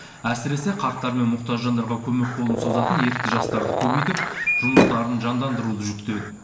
әсіресе қарттар мен мұқтаж жандарға көмек қолын созатын ерікті жастарды көбейтіп жұмыстарын жандандыруды жүктеді